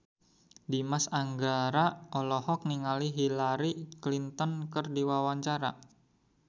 Dimas Anggara olohok ningali Hillary Clinton keur diwawancara